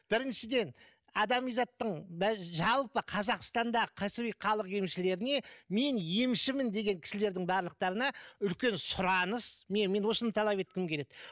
біріншіден адами заттың жалпы қазақстанда кәсіби халық емшілеріне мен емшімін деген кісілердің барлықтарына үлкен сұраныс мен осыны талап еткім келеді